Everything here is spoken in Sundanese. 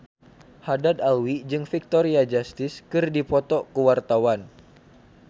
Haddad Alwi jeung Victoria Justice keur dipoto ku wartawan